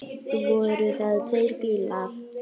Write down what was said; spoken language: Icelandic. Voru það tveir bílar.